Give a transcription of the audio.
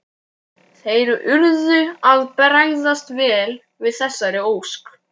Þeir urðu að bregðast vel við þessari ósk.